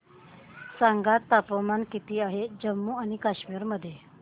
सांगा तापमान किती आहे जम्मू आणि कश्मीर मध्ये